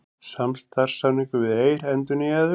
Samstarfssamningur við Eir endurnýjaður